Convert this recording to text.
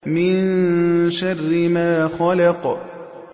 مِن شَرِّ مَا خَلَقَ